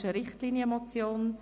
Es ist eine Richtlinienmotion.